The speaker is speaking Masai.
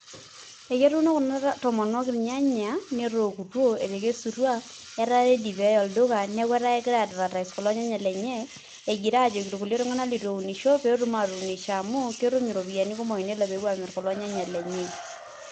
Eketuuno kuna tomonok ilnyanya netookutuo etekesutua etaa keji pee eyai olduka neeku etaa kegirai ai advertise kulo nyanya lenye egira aajoki kulie tung'anak litu eunisho pee etum aatuunisho amu ketum iropiyiani kumok tenelo pee epuo aamirr kulo nyanya lenye.